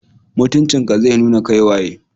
Mutunci ka zai nuna kai waye.